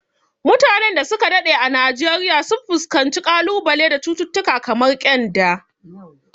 Mutanen da su ka daɗe a Najeriya sun fuskanci kalubale da cututtuka kamar kyanda.